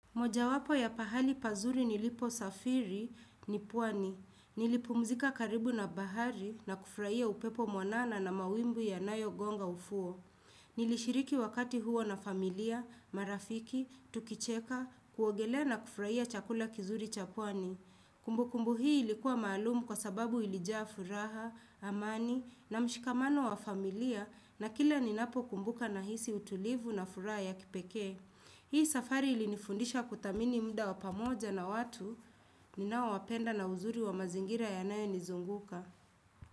Moja wapo ya pahali pazuri nilipo safiri, nipwani. Nilipumzika karibu na bahari na kufraia upepo mwanana na mawimb ya nayo gonga ufuo. Nilishiriki wakati huo na familia, marafiki, tukicheka, kuogelea na kufraia chakula kizuri cha pwani. Kumbukumbu hii ilikuwa malumu kwa sababu ilijafuraha, amani na mshikamano wa familia na kila ninapo kumbuka na hisi utulivu na furaha ya kipeke. Hii safari ili nifundisha kutamini mda wapamoja na watu ninao wapenda na uzuri wa mazingira ya nayo nizunguka.